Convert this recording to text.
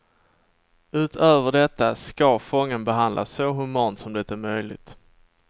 Utöver detta ska fången behandlas så humant som det är möjligt.